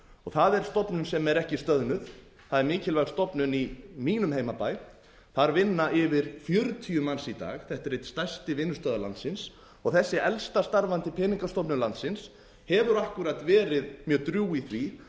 það er stofnun sem er er ekki stöðnuð það er mikilvæg stofnun í mínum heimabæ þar vinna yfir fjörutíu manns í dag þetta er einn stærsti vinnustaður landsins þessi elsta starfandi peningastofnun landsins hefur akkúrat verið mjög drjúg í því